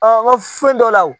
n ka fɛn dɔ la